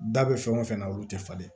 Da bɛ fɛn o fɛn na olu tɛ falen